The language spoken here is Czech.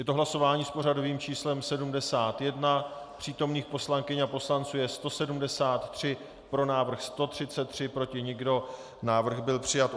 Je to hlasování s pořadovým číslem 71, přítomných poslankyň a poslanců je 173, pro návrh 133, proti nikdo, návrh byl přijat.